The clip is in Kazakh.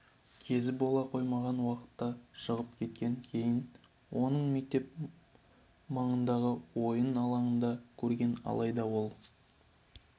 кезі бола қоймаған уақытта шығып кеткен кейін оны мектеп маңындағы ойын алаңынан көрген алайда ол